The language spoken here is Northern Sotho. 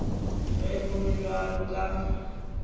ge go le bjalo ka